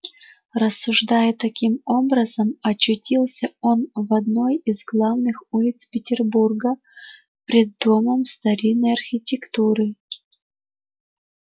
рассуждая таким образом очутился он в одной из главных улиц петербурга пред домом старинной архитектуры